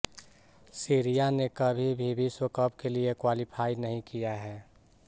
Syria ने कभी भी विश्व कप के लिए क्वालीफाई नहीं किया है